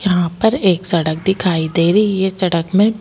यहाँ पर एक सड़क दिखाई दे रही है सड़क में ए--